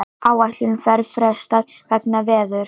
Áætlunarferð frestað vegna veðurs